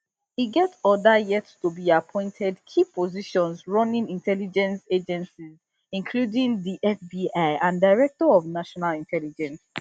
e get oda yettobeappointed key positions running intelligence agencies including the fbi and director of national intelligence